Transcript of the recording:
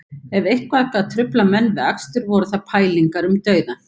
Ef eitthvað gat truflað menn við akstur voru það pælingar um dauðann